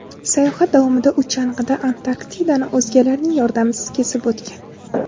Sayohat davomida u chang‘ida Antarktidani o‘zgalarning yordamisiz kesib o‘tgan.